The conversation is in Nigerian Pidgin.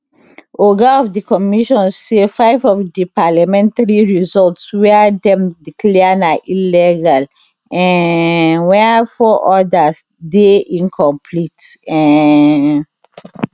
oga of di commission say five of di parliamentary results wia dem declare na illegal um wia four odas dey incomplete um